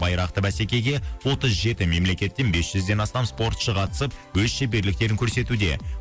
байрақты бәсекеге отыз жеті мемлекеттен бес жүзден астам спортшы қатысып өз шеберліктерін көрсетуде